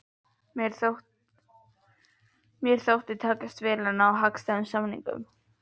Mér þótti mér takast vel að ná hagstæðum samningum!